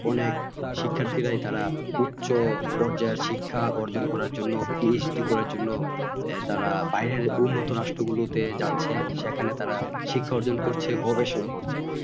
অনেক শিক্ষার্থীরা তারাই উচ্চ পর্যায় শিক্ষা অর্জন করার জন্য PhD করার জন্য তারা বাইরের উন্নত রাষ্ট্র গুলোতে যাচ্ছে সেখানে তারা শিক্ষা অর্জন করছে গবেষণা করছে